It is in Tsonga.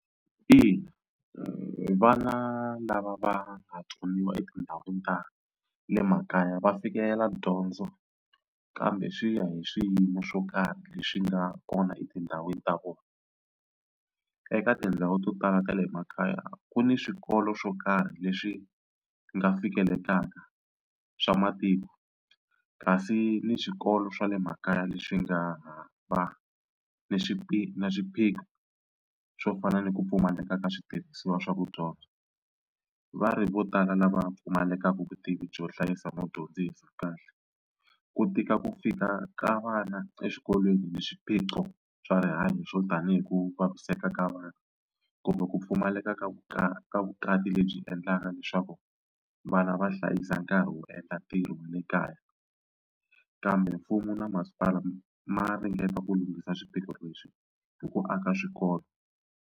Ina vana lava va nga tsoniwa etindhawini ta le makaya va fikela dyondzo kambe swi ya hi swiyimo swo karhi leswi nga kona etindhawini ta vona. Eka tindhawu to tala ta le makaya ku ni swikolo swo karhi leswi nga fikelekaka swa matiko kasi ni swikolo swa le makaya leswi nga va ni na swiphiqo swo fana ni ku pfumaleka ka switirhisiwa swa ku dyondza. Va ri vo tala lava pfumalekaka vutivi byo hlayisa no dyondzisa kahle ku tika ku fika ka vana eswikolweni ni swiphiqo swa rihanyo swo tanihi ku vaviseka ka vanhu kumbe ku pfumaleka ka bya vukati lebyi endlaka leswaku vana va hlayisa nkarhi wo endla ntirho wa le kaya kambe mfumo na masipala ma ringeta ku lunghisa swiphiqo leswi hi ku aka swikolo.